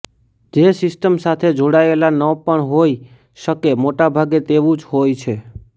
જે સિસ્ટમ સાથે જોડાયેલા ન પણ હોઈ શકેમોટાભાગે તેવું જ હોય છે